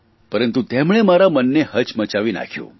પરંતુ તેમણે મારા મનને હચમચાવી નાંખ્યું